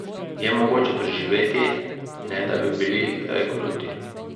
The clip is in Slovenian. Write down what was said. Je mogoče preživeti, ne da bi bili kdaj kruti?